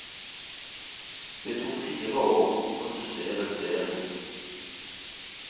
Det tok fire år å produsere serien.